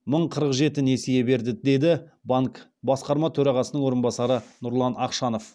мың қырық жеті несие берді деді банктің басқарма төрағасының орынбасары нұрлан ақшанов